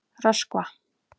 Röskva